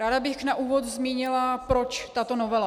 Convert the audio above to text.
Ráda bych na úvod zmínila, proč tato novela.